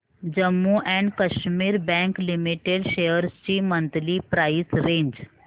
Jammu and Kashmir bank limited shares ची monthly price range